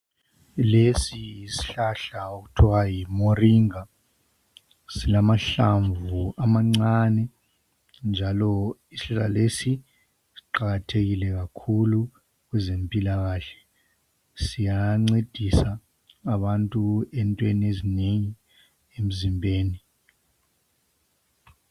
Lesi yisihlahla okuthiwa yiMoringa, silamahlamvu amancane njalo isihlahla lesi siqakathekile kakhulu kwezempilakahle. Siyancedisa abantu entweni ezinengi, emzimbeni.